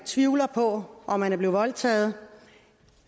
tvivlet på om man er blevet voldtaget